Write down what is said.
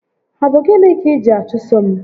Ọ bụ gịnị kà iji achụso m?